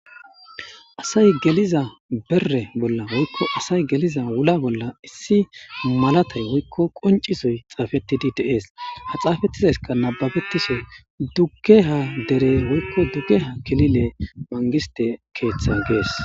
asay geliza berre bolla woykko asay geliza wula bolla issi malatay woykko qoncisoy xaafettidi de7es ha xaafettizayska nababettiso duggeha dere woykko duggeha kilile mangiste keeththa gees